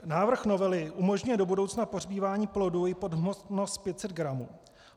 Návrh novely umožňuje do budoucna pohřbívání plodů i pod hmotnost 500 gramů.